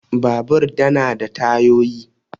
Babur da na da tayoyi.